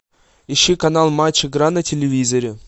ищи канал матч игра на телевизоре